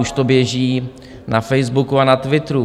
Už to běží na Facebooku a na Twitteru.